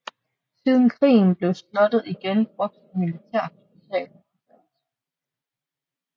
Siden krigen blev slottet igen brugt som militærhospital og forfaldt